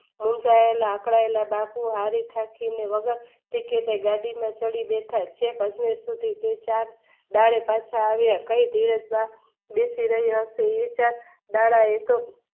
રિસાયેલા અકળાયેલા બાપુ આવી વગર ટિકિટે ગાડીમાં ચડી બેઠા છેક સુધી બાળે પાછા આવ્યા